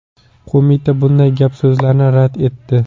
Qo‘mita bunday gap-so‘zlarni rad etdi .